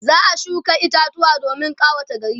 za'a shuka itatuwa domin ƙawata gari